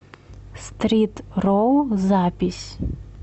стрит ролл запись